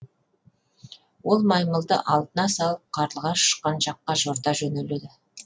ол маймылды алдына салып қарлығаш ұшқан жаққа жорта жөнеледі